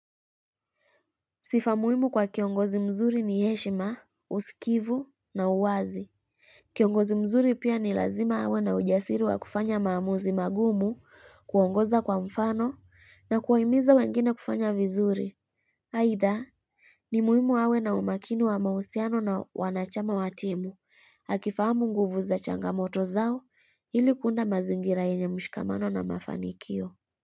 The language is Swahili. Sifa muhimu kwa kiongozi mzuri ni heshima, usikivu na uwazi. Kiongozi mzuri pia ni lazima awe na ujasiri wa kufanya maamuzi magumu, kuongoza kwa mfano na kuwahimiza wengine kufanya vizuri. Aidha, ni muhimu awe na umakini wa mahusiano na wanachama wa timu. Hakifahamu nguvu za changamoto zao ili kuunda mazingira enye mshikamano na mafanikio.